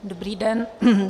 Dobrý den.